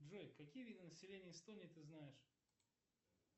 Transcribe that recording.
джой какие виды населения эстонии ты знаешь